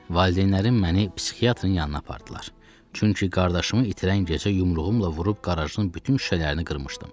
Valideynlərim məni psixiatrın yanına apardılar, çünki qardaşımı itirən gecə yumruğumla vurub qarajın bütün şüşələrini qırmışdım.